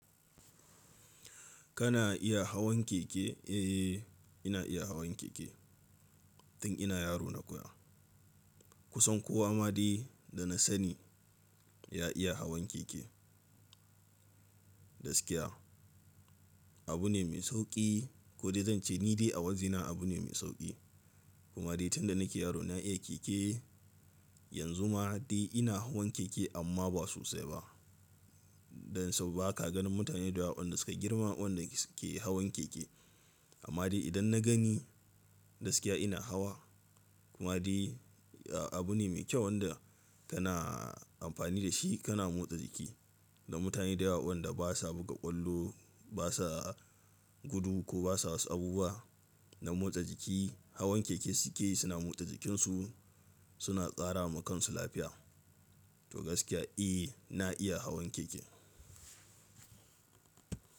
Kana iya hawan keke? Eh, ina iya hawan keke. Tun ina yaro na koya. Kusan kowa ma dai da na sani ya iya hawan keke. Gaskiya abu ne mai sauƙi ko dai zan ce ni dai a wajena abu ne mai sauƙi. Kuma dai tun da nake yaro na iya keke. Yanzu ma dai ina hawan keke amma ba sosai ba. Don sau ba ka ganin mutane da yawa waɗanda suka girma waɗanda suke hawan keke. Amma dai idan na gani gaskiya ina hawa. Kuma dai abu ne mai kyau wanda kana amfani da shi kana motsa jiki. Da mutane da yawa waɗanda basa buga ƙwallo, basa gudu ko basa wasu abubuwa na motsa jiki, hawan keke suke yi suna motsa jikinsu suna tsara wa kansu lafiya. To gaskiya eh ina iya hawan keke.